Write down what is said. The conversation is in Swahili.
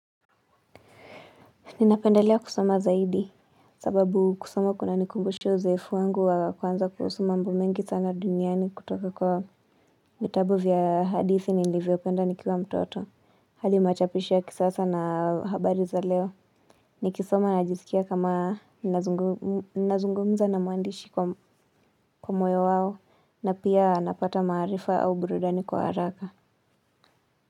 Ninapendalea kusoma zaidi sababu kusoma kunanikumbusha uzoefu wangu wa kwanza kuhusu mambo mengi sana duniani kutoka kwa vitabu vya hadithi nilivyo penda nikiwa mtoto. Hali machapishia kisasa na habari za leo. Nikisoma najisikia kama nazungumza na muandishi kwa moyo wao na pia napata maarifa au burudani kwa haraka.